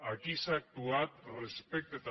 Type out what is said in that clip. aquí s’ha actuat respecte també